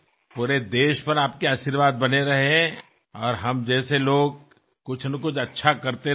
संपूर्ण देशाला तुमचे आशीर्वाद कायम लाभू देत आणि आमच्यासारखे लोक ज्यांना काही चांगले करायची इच्छा आहे